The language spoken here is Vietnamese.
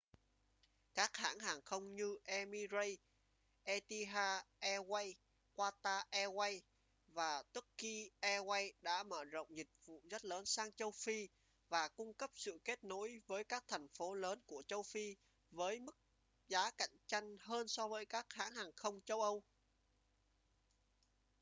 các hãng hàng không như emirates etihad airways qatar airways và turkish airlines đã mở rộng dịch vụ rất lớn sang châu phi và cung cấp sự kết nối với các thành phố lớn của châu phi với mức giá cạnh tranh hơn so với các hãng hàng không châu âu